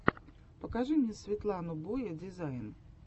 покажи мне светлану боя дизайн